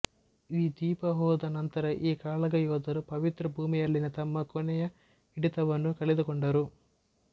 ಈ ದ್ವೀಪ ಹೋದ ನಂತರ ಈ ಕಾಳಗ ಯೋಧರು ಪವಿತ್ರ ಭೂಮಿಯಲ್ಲಿನ ತಮ್ಮ ಕೊನೆಯ ಹಿಡಿತವನ್ನೂ ಕಳೆದುಕೊಂಡರು